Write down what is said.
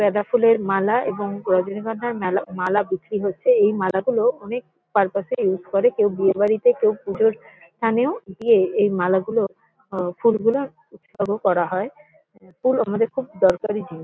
গ্যাঁদা ফুলের মালা এবং রজনীগন্ধার মেলা মালা বিক্রি হচ্ছে। এই মালাগুলো অনেক পারপাস -এ ইউস করে কেউ বিয়ে বাড়িতে কেউ পুজোর স্থানেও দিয়ে এই মালাগুলো ও ফুলগুলো উৎসর্গ করা হয়। । ফুল আমাদের খুব দরকারি জিনিস।